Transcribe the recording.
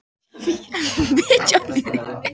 Fitjamýri